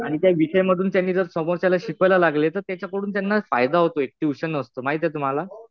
आणि त्या विषयामधून त्यांनी जर समोरच्याला शिकवायला लागले तर त्याच्याकडून त्यांना फायदा होतोय. ट्युशन असतं. माहितीये तुम्हाला?